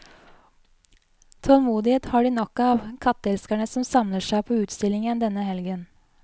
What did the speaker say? Tålmodighet har de nok av, katteelskerne som samler seg på utstillingen denne helgen.